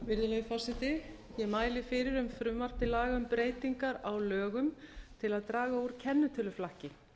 virðulegi forseti ég mæli fyrir um frumvarp til laga um breytingar á lögum til að draga úr kennitöluflakki